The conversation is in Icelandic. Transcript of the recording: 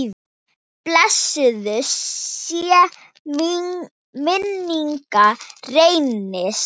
Blessuð sé minning Reynis.